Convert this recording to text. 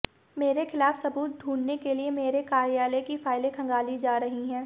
मेरे खिलाफ सबूत ढूंढने के लिए मेरे कार्यालय की फाइलें खंगाली जा रही हैं